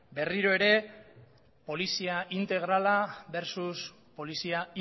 berriro ere polizia integrala versus polizia